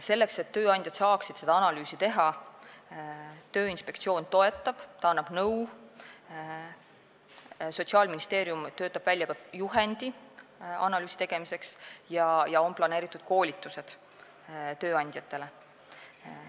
Selleks, et tööandjad saaksid seda analüüsi teha, Tööinspektsioon toetab ja annab nõu, Sotsiaalministeerium töötab välja juhendi analüüsi tegemiseks ja on planeeritud koolitused tööandjatele.